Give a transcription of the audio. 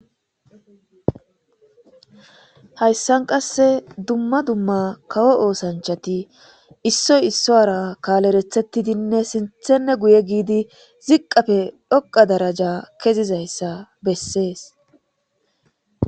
Hayssan qasse dumma dumma kawo oosanchati issoy isso ara kaalerethettidinne sinthenne guye giidi ziqqafe dhoqa daraja kezizayssa bessees